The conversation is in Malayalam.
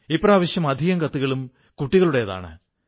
ഇപ്രാവശ്യം അധികം കത്തുകളും കുട്ടികളുടേതാണ്